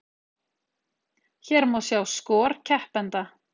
Hér má sjá skor keppenda